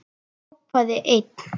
Hrópaði einn: